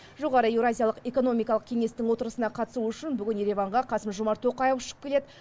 жоғары еуразиялық экономикалық кеңестің отырысына қатысу үшін бүгін ереванға қасым жомарт тоқаев ұшып келеді